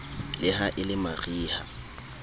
le ha e le mariha